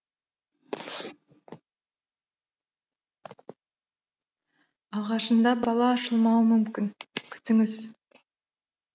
алғашында бала ашылмауы мүмкін күтіңіз